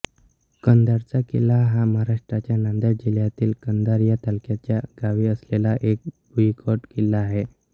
कंधारचा किल्ला हा महाराष्ट्राच्या नांदेड जिल्हयातील कंधार या तालुक्याच्या गावी असलेला एक भुईकोट किल्ला आहे